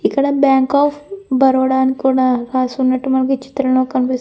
ఇక్కడ bank of Baroda అని కూడా రాసి ఉన్నట్టు మనకీ చిత్రంలో కనిపిస్తుం --